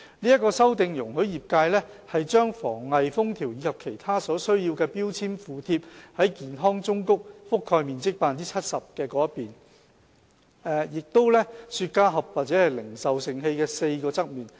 這項修訂容許業界把防偽封條及其他所需標籤附貼在健康忠告覆蓋面積 70% 的表面，以及雪茄盒或零售盛器的4個側面。